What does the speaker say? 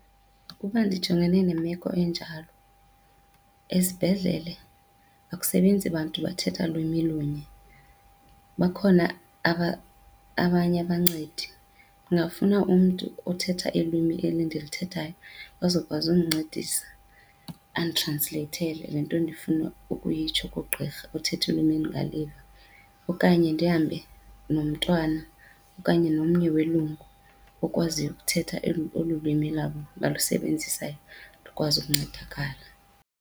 Ukuba ndijongene nemeko enjalo, esibhedlele akusebenzi bantu bathetha lwimi lunye, bakhona abanye abancedi. Ndingafuna umntu othetha ilwimi eli ndilithethayo azokwazi undincedisa anditransleyithele le nto ndifuna ukuyitsho kugqirha othetha ilwimi endingaliva. Okanye ndihambe nomntwana okanye nomnye welungu okwaziyo ukuthetha olu lwimi lwabo balusebenzisayo, ndikwazi ukuncedakala.